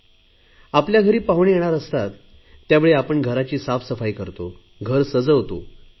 आणि तसेही अतिथी देवो भव असे आपण म्हणतोच की आपल्या घरी पाहुणे येणार असतात त्यावेळी आपण घराची साफसफाई करतो घर सजवतो